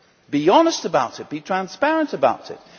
Be honest about it, be transparent about it.